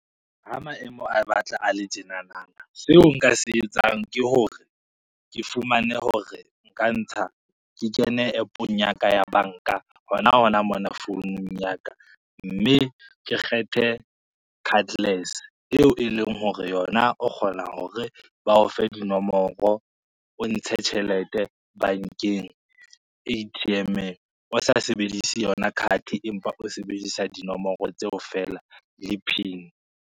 Ha maemo a batla a le tjenananang, seo nka se etsang ke hore, ke fumane hore nka ntsha ke kene app-ong ya ka ya banka hona hona mona founung ya ka, mme ke kgethe cardless eo e leng hore yona o kgona hore ba o fe dinomoro, o ntshe tjhelete bankeng A_T_M-eng o sa sebedise yona card empa o sebedisa dinomoro tseo fela le pin.